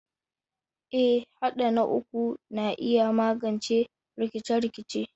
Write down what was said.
Eh, haɗa na uku na iya magance rikice-rikice.